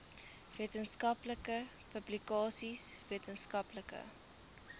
wetenskaplike publikasies wetenskaplike